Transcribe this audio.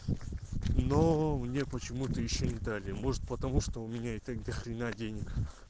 но мне почему-то ещё не дали может потому что у меня и так до хрена денег